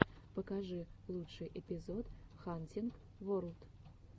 покажи лучший эпизод хантинг ворлд